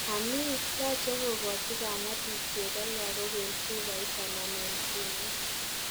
Ani, yache kokachi kamatik chego lagok en chubait anan en kinet?